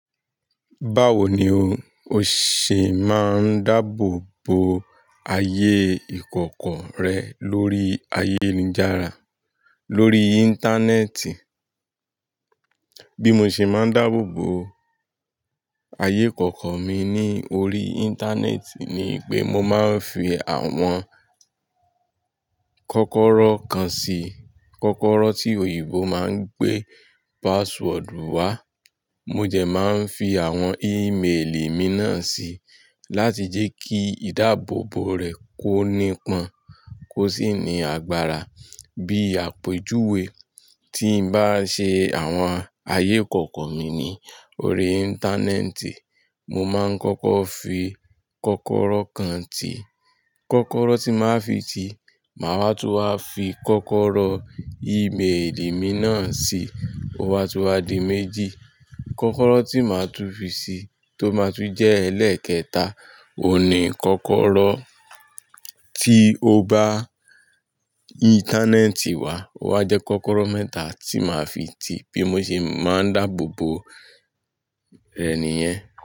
Báwo ni o ṣe máa ń dáàbò bo ayé ìkọ̀kọ̀ rẹ lórí ayélujára, lórí Íńtánẹ́ẹ̀tì? Bí mo ṣe máa ń dáàbò bo ayé ìkọ̀kọ̀ mi ní orí Íńtánẹ́ẹ̀tì ni pé mo máa ń fi àwọn kọ́kọ́rọ́ kan sí, kọ́kọ́rọ́ tí òyìnbó máa ń pè password wá. Mo jẹ máa ń fi àwọn ímeèlì mi náà si láti jẹ́ kí ìdáàbòbò rẹ̀ kó ni pọn, kó sì ní agbára. Bí àpèjúwe tí n bá ṣe àwọn ayé ìkọ̀kọ̀ mi ní orí Íńtánẹ́ẹ̀tì, mo máa ń kọ́kọ́ fi kọ́kọ́rọ́ kan tí, kọ́kọ́rọ́ tí màá fi ti, màá wá tún wá fi kọ́kọ́rọ́ i ímeèlì mi náà sí, ó wá tún wá di méjì. Kọ́kọ́rọ́ tí màá tún fi si tó máa tún jẹ́ ẹlẹ́ẹ̀kẹta, o Ó ní kọ́kọ́rọ́ tí o bá Íńtánẹ́ẹ̀tì wá, ó wá jẹ́ kọ́kọ́rọ́ mẹ́ta tí màá fi ti. Bí mo ṣe máa ń dáàbò bo rẹ̀ nìyẹn.